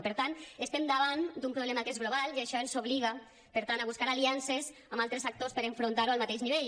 i per tant estem davant d’un problema que és global i això ens obliga per tant a buscar aliances amb altres actors per a enfrontar ho al mateix nivell